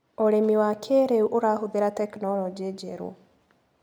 ũrĩmi wa kĩrĩu ũrahũthĩra tekinologĩ njerũ.